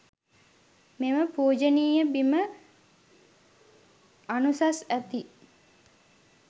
මෙම පූජනීය බිම අනුසස් ඇති